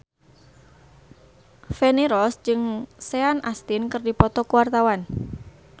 Feni Rose jeung Sean Astin keur dipoto ku wartawan